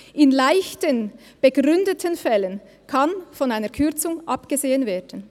In leichten, begründeten Fällen kann von einer Kürzung abgesehen werden.».